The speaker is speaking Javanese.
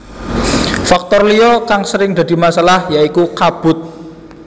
Faktor liya kang sering dadi masalah ya iku kabut